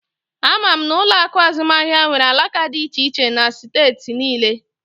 Ama m na ụlọ akụ azụmaahịa nwere alaka dị iche iche na steeti niile